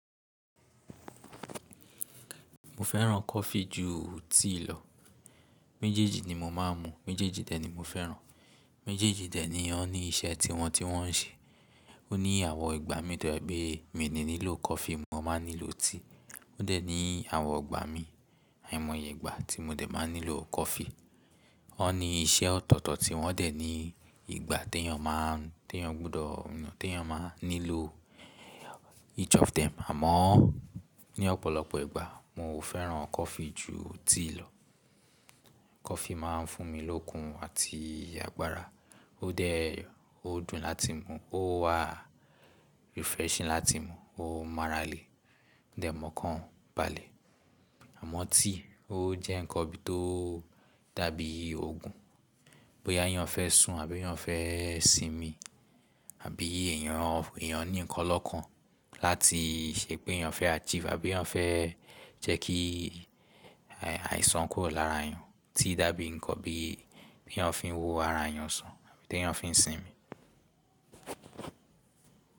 Mo fẹ́ràn coffee ju tea lọ. Méjèèjì ni mo máa ń mu, méjèèjì dẹ̀ ni mo fẹ́ràn. Méjèèjì dẹ̀ ni wọ́n ní iṣẹ́ tiwọn tí wọ́n ń ṣe. Ó ní àwọ̀ ìgbà mi tó jẹ́ wípé mi ni nílò coffee, mo máa nílò tea. Ó dẹ̀ ní àwọ̀n ìgbà mi, àìmọye ìgbà tí mo dẹ̀ máa nílò coffee. Wọ́n ní iṣẹ́ ọ̀tọ̀ọ̀tọ̀ tí wọ́n dẹ̀ ní ìgbà tí ẹyàn máa ń, tí ẹyàn gbọdọ̀, tí ẹyàn máa nílò each of them. Àmọ́ ní ọ̀pọ̀lọpọ̀ ìgbà mo fẹ́ràn coffee ju tea lọ. Coffee máa ń fún mi lókun àti agbára. Ó dẹ̀ ó dùn láti mu, ó wà refreshing láti mu, ó marale, dẹ̀ mọ̀ọ́kàn balẹ̀. Àmọ́ tea ó jẹ́ nǹkan bí i tó dàbí òògùn. Boya ẹyàn fẹ́ sùn àbí ẹyàn fẹ́ sinmi àbí èèyàn, èèyàn ní ǹkan lọ́ọ̀kan láti ṣe pé ẹyàn fẹ́ achieve àbí ẹyàn fẹ́ jẹ́ kí àìsàn kúrò lára ẹyàn. Tea dàbí nǹkan bí i tí ẹyàn fi ń wo ara ẹyàn sàn àbí tí ẹyàn fi ń sinmi.